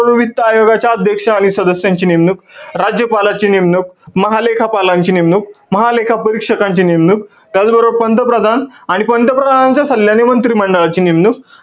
वित्त आयोगाचे अध्यक्ष आणि सदस्यांची नेमणूक, राज्यपालाची नेमणूक, महालेखापालांची नेमणूक, महालेखा परीक्षकांची नेमणूक, त्याचबरोबर पंतप्रधान आणि पंतप्रधानांच्या सल्ल्याने मंत्रिमंडळाची नेमणूक.